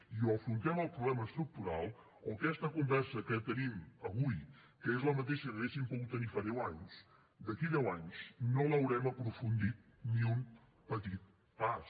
i o afrontem el problema estructural o aquesta conversa que tenim avui que és la mateixa que hauríem pogut tenir fa deu anys d’aquí a deu anys no l’haurem aprofundit ni un petit pas